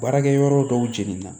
Baarakɛ yɔrɔ dɔw jeninna